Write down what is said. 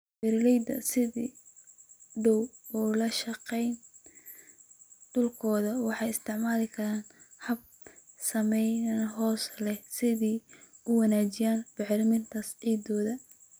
Beeraleyda sida dhow ula shaqeeya dhulkooda waxay isticmaali karaan habab saameyn hoose leh si ay u wanaajiyaan bacrinta ciidda.